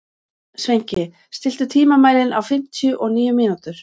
Sveinki, stilltu tímamælinn á fimmtíu og níu mínútur.